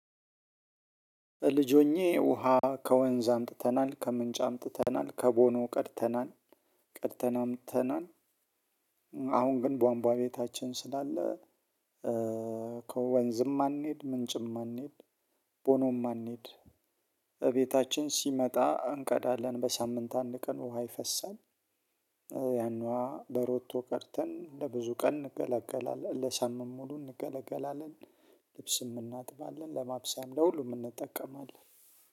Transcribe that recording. ልጅ ሆኜ ውሃ ከወንዝ አምጥተናል ከምንጭ አምጥተናል ከቦኖ ቀድተናል ቀድተን አምጥተናል። አሁን ግን ቧንቧ ቤታችን ስላለ። ከወንዝም አንሄድ ምንጭም አንሄድ ቦኖም አንሄድ። እቤታችን ሲመጣ እንቀዳለን በሳምንት አንድ ቀን ውሃ ይፈሳል። ያን ውሃ በሮቶ ቀድተን ለብዙ ቀን እንገለገላለን ለሳምንት ሙሉ እንገለገላለን። ልብስም እናጥባለን ለማብሰያም ለሁሉም እንጠቀማለን።